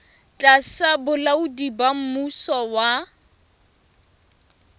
tlasa bolaodi ba mmuso wa